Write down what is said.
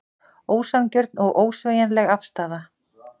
Ósanngjörn og ósveigjanleg afstaða